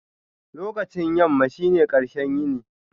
Lokacin yamma shine ƙarshen yini.